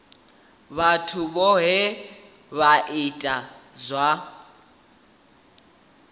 vhathu vhohe vha itaho zwa